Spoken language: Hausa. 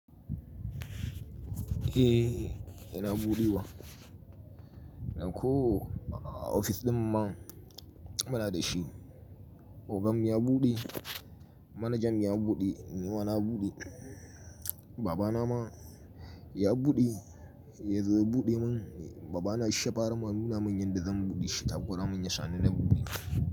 Eh, ina buɗewa. Dan ko, ofis ɗin ma muna da shi. Ogan ya buɗe, manajan ya buɗe, ni ma na buɗe. Babana ma ya buɗe ya zo ya buɗe mun babana shi ya fara ma nuna mun yanda zan buɗe takura mun ya sha ni na buɗe.